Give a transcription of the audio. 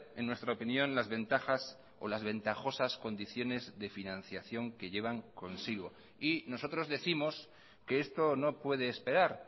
en nuestra opinión las ventajas o las ventajosas condiciones de financiación que llevan consigo y nosotros décimos que esto no puede esperar